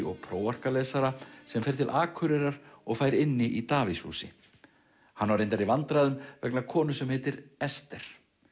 og prófarkalesara sem fer til Akureyrar og fær inni í Davíðshúsi hann á reyndar í vandræðum vegna konu sem heitir Ester